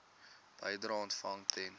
bedrae ontvang ten